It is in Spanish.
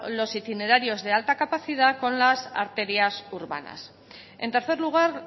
los itinerarios de alta capacidad con las arterias urbanas en tercer lugar